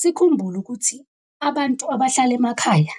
Sikhumbule ukuthi abantu abahlala emakhaya